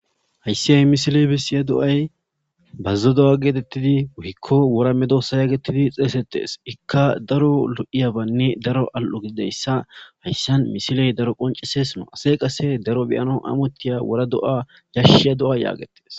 Hayssi ha misiley bessiya do'ay bazzo do'a geetettidi woykko wora medoosa geetetidi xeysettees. Ikka daro lo'iyabanne daro al'o gididayssa hayssan misiley daro qonciseese. Asay qase daro beyana amottiya wora do'a yashiya do'a geetetees.